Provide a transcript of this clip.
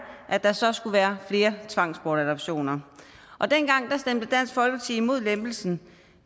at der så skulle være flere tvangsbortadoptioner dengang stemte dansk folkeparti imod lempelsen